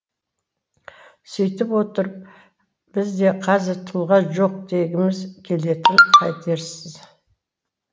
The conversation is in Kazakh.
сөйтіп отырып бізде қазір тұлға жоқ дегіміз келетінін қайтерсіз